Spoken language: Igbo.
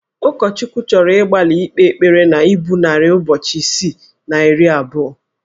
Ụkọchukwu chọrọ ịgbalị ikpe ekpere na ibu narị ụbọchị isii na iri abụọ